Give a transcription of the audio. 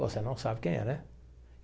Você não sabe quem é, né?